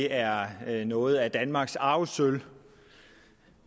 er er noget af danmarks arvesølv